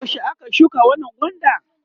yaushe aka shuka wannan gwandan?